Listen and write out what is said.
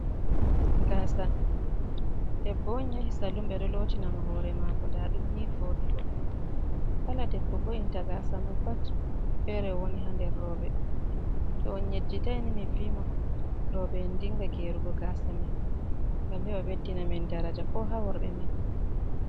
Gaasa, debbo on yahi salun be do lotinamo hore mako daadum ni vodugo, kala debbo vo’inta gasa mon pat fere o woni ha nder robe. To on yejjitaini mi vi mon roobe’en dinga gerugo gasa man ngam hewa beddina min daraja ko ha worbe men.